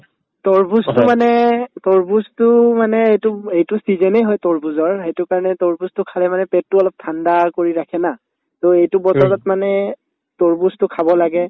তৰমুজতো মানে তৰমুজতোও মানে এইটোব এইটো season য়ে হয় তৰমুজৰ সেইটো কাৰণে তৰমুজতো খালে মানে পেটতো অলপ ঠাণ্ডা কৰি ৰাখে না to এইটো বতৰত মানে তৰমুজতো খাব লাগে